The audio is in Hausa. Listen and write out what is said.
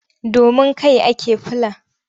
Domin kai ake fula.